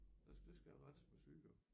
Ja så det skal jeg have renset med syre